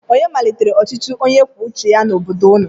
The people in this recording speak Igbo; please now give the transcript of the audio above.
Onye malitere ọchịchị onye kwuo uche ya n'obodo ụnụ?